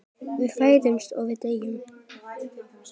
Við fæðumst og við deyjum.